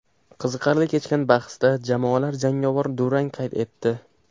Qiziqarli kechgan bahsda jamoalar jangovar durang qayd etdi.